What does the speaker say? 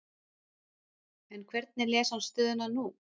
En hvernig les hann stöðuna nú?